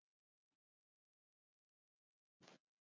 Hann hafði fengið John